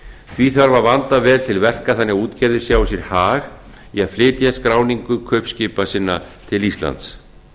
því þarf að vanda vel til verka þannig að útgerðin sjái sér hag í að flytja skráningu kaupskipa sinna til íslands